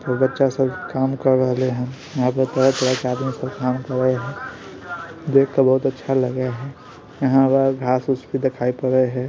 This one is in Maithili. बच्चा सब काम कर रहले हेय वहां पर तरह-तरह के आदमी सब काम करें हेय देख के बहुत अच्छा लगे हेय यहां पर घास उस भी दिखाई पड़े हेय।